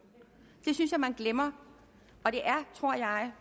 det synes jeg at man glemmer det tror jeg at